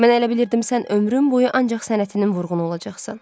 Mən elə bilirdim sən ömrün boyu ancaq sənətinin vurğunu olacaqsan.